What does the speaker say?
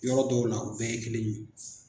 Yɔrɔ dɔw la u bɛɛ ye kelen yo.